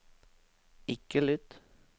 ikke lytt